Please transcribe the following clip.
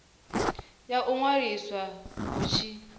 ya u ṅwaliswa hu tshi